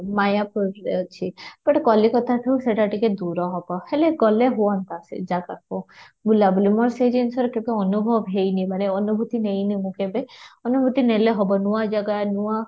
ମାୟାପୁରରେ ଅଛି ଗୋଟେ କଲିକତାଠୁ ସେଇଟା ଟିକେ ଦୂର ହେବ, ହେଲେ ଗଲେ ହୁଅନ୍ତା ସେ ଜାଗାକୁ ବୁଲା ବୁଲି ମୋର ସେ ଜିନିଷରେ ଟିକେ ଅନୁଭବ ହେଇନି ମାନେ ଅନୁଭୂତି କେବେ ନେଇନି ମୁଁ କେବେ ଅନୁଭୂତି ନେଲେ ହେବ ନୂଆ ଜାଗା ନୂଆ